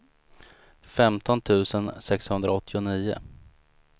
femton tusen sexhundraåttionio